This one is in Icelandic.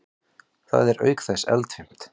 Það er auk þess eldfimt.